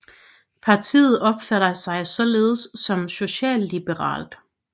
Partiet opfatter sig således som socialliberalt